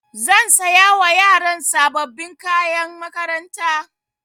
Zan saya wa yaran sababbin kayan makaranta.